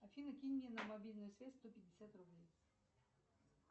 афина кинь мне на мобильную связь сто пятьдесят рублей